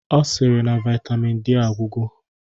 Ọ sịrị na Vaitamin D agwụgo